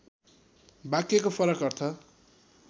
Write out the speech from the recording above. वाक्यको फरक अर्थ